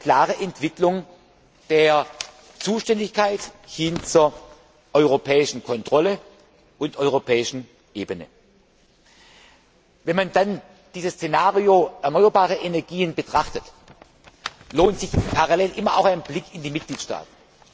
Eine klare Entwicklung der Zuständigkeit hin zur europäischen Kontrolle und zur europäischen Ebene. Wenn man dann dieses Szenario erneuerbare Energien betrachtet, lohnt sich parallel immer auch ein Blick in die Mitgliedstaaten.